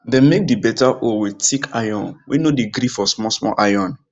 dem make the beta hoe with thick iron way no dey gree for small small iron